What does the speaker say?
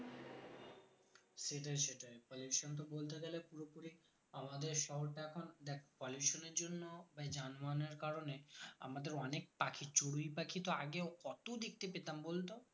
সেটাই সেটাই pollution তো বলতে গেলে পুরোপুরি আমাদের শহর তো এখন দেখ pollution এর জন্য বা এই যানবাহন এর কারণে আমাদের অনেক পাখি চড়ুই পাখি তো আগে কত দেখতে পেতাম বলতো